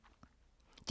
DR P2